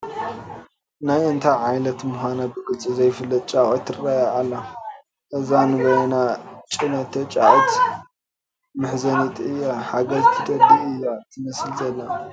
ናይ እንታይ ዓሌት ምዃና ብግልፂ ዘይትፍለጥ ጫቒት ትርአ ኣላ፡፡ እዛ ንበይና ዝኔቶ ጫቒት መሕዘኒት እያ፡፡ ሓገዝ ትደሊ እያ ትመስል ዘላ፡፡